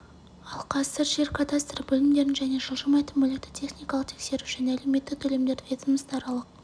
ал қазір жер кадастры бөлімдерін және жылжымайтын мүлікті техникалық тексеру және әлеуметтік төлемдерді ведомство аралық